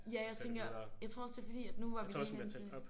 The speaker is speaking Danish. Ja tænker jeg tror også det er fordi at nu var vi lige inde til